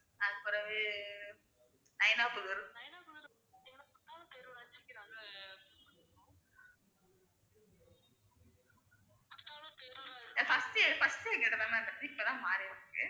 first உ first உ எங்ககிட்ட தான் ma'am இருந்துச்சு இப்ப தான் மாறிருக்கு